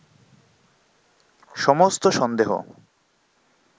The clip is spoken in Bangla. সমস্ত সন্দেহ